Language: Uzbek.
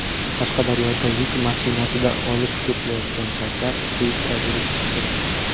Qashqadaryoda yuk mashinasida olib ketilayotgan shakar selitra bo‘lib chiqdi.